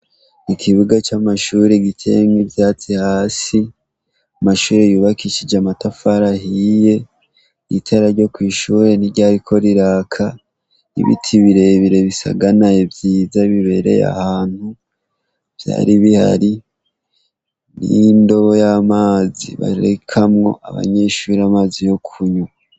Ikibuga c'amashuri giteyemwo ivyatsi hasi, amashuri yubakishije amatafara ahiye, itara ryo kw'ishure ntiryariko riraka, ibiti birebere bisaganaye vyiza bibereye ahantu vyari bihari n'indobo y'amazi barekamwo abanyeshuri amazi yo kunywa.